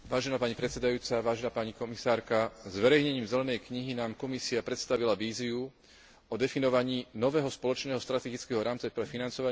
Zverejnením zelenej knihy nám Komisia predstavila víziu o definovaní nového spoločného strategického rámca pre financovanie výskumu a inovácií po roku